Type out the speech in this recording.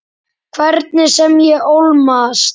Hvernig sem ég ólmast.